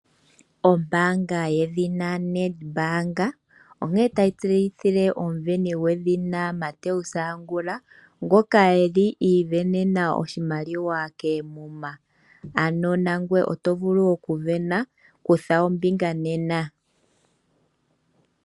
Ombaanga yedhina Nedbank onkene tayi tse yithile omuveni gwedhina Mathew Angula ngoka eli ivenenaa oshimaliwa keemuma. Ano nangoye oto vulu oku vena kutha ombinga nena.